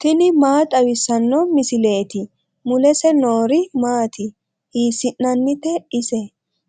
tini maa xawissanno misileeti ? mulese noori maati ? hiissinannite ise ?